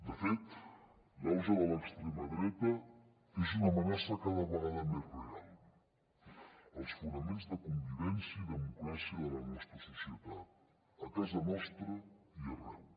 de fet l’auge de l’extrema dreta és una amenaça cada vegada més real als fonaments de convivència i democràcia de la nostra societat a casa nostra i arreu